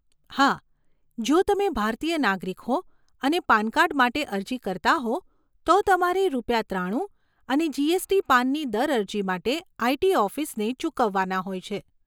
હા, જો તમે ભારતીય નાગરિક હો અને પાન કાર્ડ માટે અરજી કરતા હો તો તમારે રૂપિયા ત્રાણું અને જીએસટી પાનની દર અરજી માટે આઈટી ઓફિસને ચૂકવવાના હોય છે.